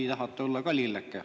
Või tahate olla ka lilleke?